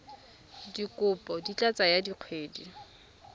dikopo di ka tsaya dikgwedi